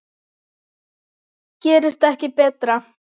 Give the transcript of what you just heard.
Gerist ekki betra!